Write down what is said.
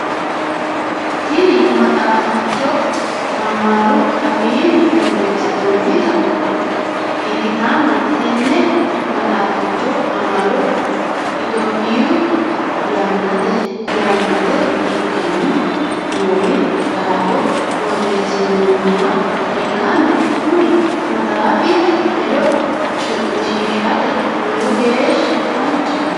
Tinni maxaaficho amaaru afiinni boreesinnonnita ikitanna tenne maxaaficho amado itophiyu yannate ikanni noori daafo boreesinoonniha ikanna kunni maxaafi hedo cu'mishishate lowo geesha danchaho.